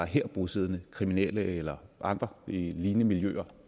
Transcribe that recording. her bosiddende kriminelle eller nogle andre lignende miljøer